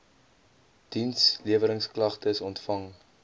diensleweringsk lagtes ontvang